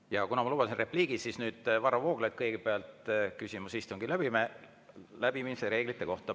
Ja kuna ma lubasin endale repliigi, siis, Varro Vooglaid kõigepealt, küsimus istungi läbiviimise reeglite kohta.